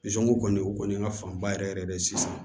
kɔni o kɔni ka fan ba yɛrɛ yɛrɛ de ye sisan